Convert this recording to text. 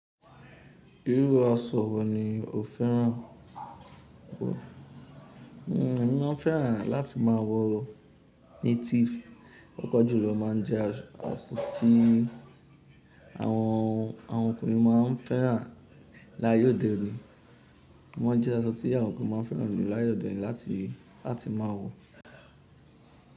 Irú aṣọ wo ni o fẹ́ràn kó? Mó máa ń fẹ́ràn láti má wọ native. Pápà jù ló, ó má a ń jẹ́ aṣọ tí àwọn ọkùnrin má a ń fẹ́ràn láàye ódè òní. Wọ́n jẹ́ aṣọ tí àwọn ọkùnrin máa ń fẹ́ràn láàye òdèní láti máa wọ.